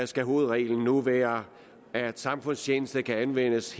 skal hovedreglen nu være at samfundstjeneste kan anvendes